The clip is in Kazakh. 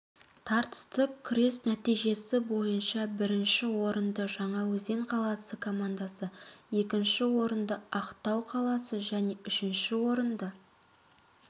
тартысты күрес нәтижесі бойынша бірінші орынды жаңаөзен қаласы командасы екінші орынды ақтау қаласы және үшінші орынды